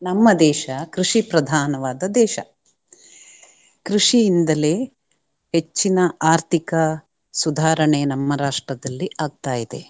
ನಮ್ಮ ದೇಶ ಕೃಷಿ ಪ್ರಧಾನವಾದ ದೇಶ. ಕೃಷಿ ಇಂದಲೆ ಹೆಚ್ಚಿನ ಆರ್ಥಿಕ ಸುಧಾರಣೆ ನಮ್ಮ ರಾಷ್ಟ್ರದಲ್ಲಿ ಆಗ್ತಾ ಇದೆ.